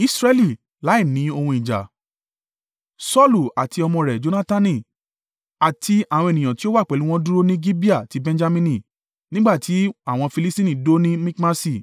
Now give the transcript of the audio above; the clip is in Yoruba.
Saulu àti ọmọ rẹ̀ Jonatani àti àwọn ènìyàn tí ó wà pẹ̀lú wọn dúró ní Gibeah ti Benjamini, nígbà tí àwọn Filistini dó ní Mikmasi.